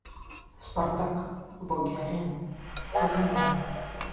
спартак боги арены сезон один